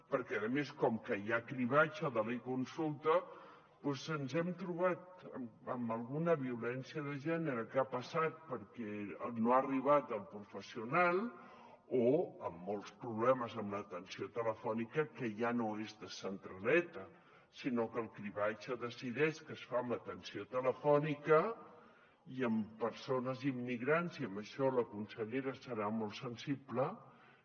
perquè a més com que hi ha cribratge de l’econsulta doncs ens hem trobat amb alguna violència de gènere que ha passat perquè no ha arribat el professional o amb molts problemes amb l’atenció telefònica que ja no és de centraleta sinó que el cribratge decideix que es fa amb atenció telefònica i amb persones immigrants i en això la consellera serà molt sensible